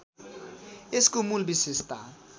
यसको मूल विशेषता